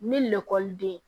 Ni lakɔliden